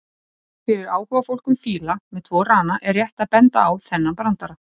Fyrir áhugafólk um fíla með tvo rana er rétt að benda á þennan brandara: